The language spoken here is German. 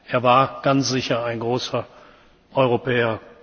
Er war ganz sicher ein großer Europäer.